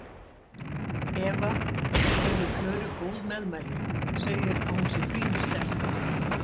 Eva gefur Klöru góð meðmæli, segir að hún sé fín stelpa.